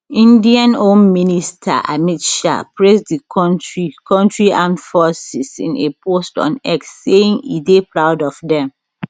indian home minister amit shah praise di kontri country armed forces in a post on x saying e dey proud of dem